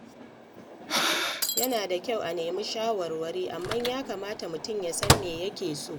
Yana da kyau a nemi shawarwari, amma ya kamata mutum ya san me yake so.